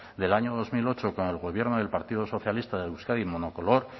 del año dos mil ocho con el gobierno del partido socialista de euskadi monocolor